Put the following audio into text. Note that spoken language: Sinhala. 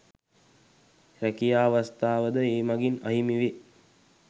රැකියා අවස්ථාද ඒ මඟින් අහිමි වේ